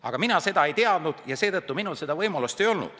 Aga mina seda ei teadnud ja seetõttu minul seda võimalust ei ole.